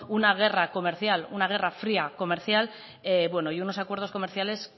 una guerra fría comercial y unos acuerdos comerciales